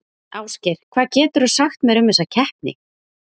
Ásgeir, hvað geturðu sagt mér um þessa keppni?